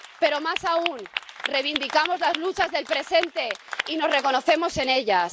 Pero, más aún, reivindicamos las luchas del presente y nos reconocemos en ellas.